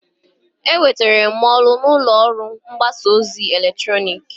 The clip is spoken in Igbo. Enwetere m ọrụ n'ụlọ ọrụ mgbasa ozi eletrọnịkị.